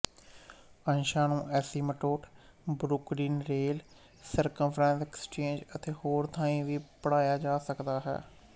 ਅੰਸ਼ਾਂ ਨੂੰ asymptote Brooklyn rail circumference exchange ਅਤੇ ਹੋਰ ਥਾਂਈਂ ਵੀ ਪੜ੍ਹਿਆ ਜਾ ਸਕਦਾ ਹੈ